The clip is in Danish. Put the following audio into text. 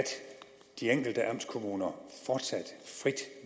de enkelte amtskommuner fortsat frit